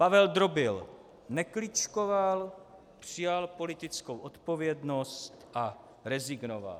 Pavel Drobil nekličkoval, přijal politickou odpovědnost a rezignoval.